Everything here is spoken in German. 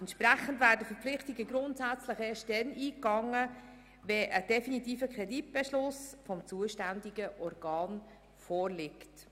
Entsprechend werden Verpflichtungen grundsätzlich erst dann eingegangen, wenn ein definitiver Kreditbeschluss des zuständigen Organs vorliegt.